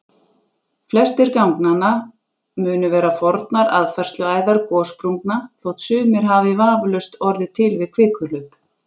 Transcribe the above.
Flestir ganganna munu vera fornar aðfærsluæðar gossprungna þótt sumir hafi vafalaust orðið til við kvikuhlaup.